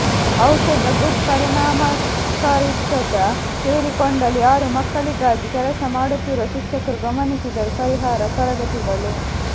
ಔಷಧದ ಗುಡ್ ಪರಿಣಾಮಕಾರಿತ್ವದ ಸೇರಿಕೊಂಡಳು ಯಾರು ಮಕ್ಕಳಿಗಾಗಿ ಕೆಲಸಮಾಡುತ್ತಿರುವ ಶಿಕ್ಷಕರು ಗಮನಿಸಿದರು ಪರಿಹಾರ ತರಗತಿಗಳು